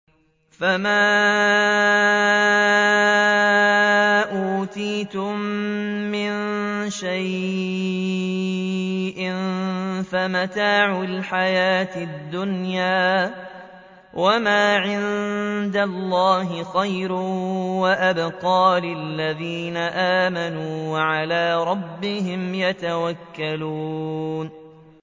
فَمَا أُوتِيتُم مِّن شَيْءٍ فَمَتَاعُ الْحَيَاةِ الدُّنْيَا ۖ وَمَا عِندَ اللَّهِ خَيْرٌ وَأَبْقَىٰ لِلَّذِينَ آمَنُوا وَعَلَىٰ رَبِّهِمْ يَتَوَكَّلُونَ